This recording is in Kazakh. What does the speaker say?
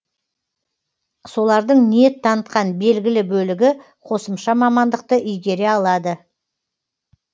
солардың ниет танытқан белгілі бөлігі қосымша мамандықты игере алады